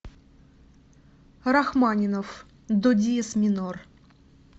рахманинов до диез минор